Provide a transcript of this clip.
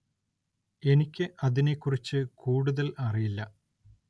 എനിക്ക് അതിനെ കുറിച്ച് കൂടുതല്‍ അറിയില്ല